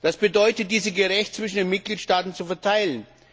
Das bedeutet, diese gerecht zwischen den Mitgliedstaaten zu verteilen.